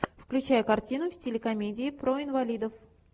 включай картину в стиле комедии про инвалидов